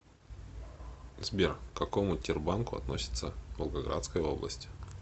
сбер к какому тербанку относится волгоградская область